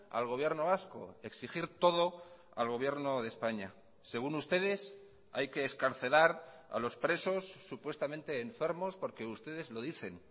al gobierno vasco exigir todo al gobierno de españa según ustedes hay que excarcelar a los presos supuestamente enfermos porque ustedes lo dicen